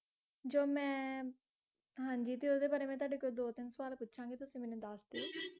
ਜੋ ਮੈ, ਹਾਂਜੀ ਤੇ ਓਹਦੇ ਬਾਰੇ ਮੈ ਤੁਹਾਡੇ ਕੋ ਦੋ ਤਿੰਨ ਸਵਾਲ ਪੁਛਾਂਗੀ ਤੁਸੀਂ ਮੈਨੂੰ ਦੱਸ ਦੀਓ